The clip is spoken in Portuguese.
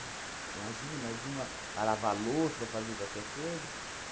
Imagina, mais uma para louça ou fazia qualquer coisa.